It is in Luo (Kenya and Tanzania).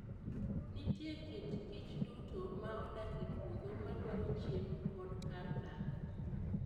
Nitie kit kichduto ma odak e puodho madwaro chiemo kod kar dak.